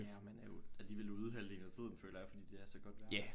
Ja og man er jo alligevel ude halvdelen af tiden føler jeg fordi det er så godt vejr